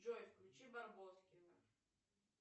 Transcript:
джой включи барбоскины